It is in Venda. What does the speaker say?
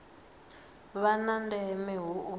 vha na ndeme hu u